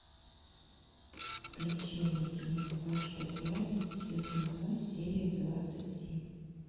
включи мне кино плач по тиаре сезон два серия двадцать семь